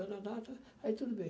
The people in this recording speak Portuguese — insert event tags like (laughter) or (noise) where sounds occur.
(unintelligible) Aí tudo bem.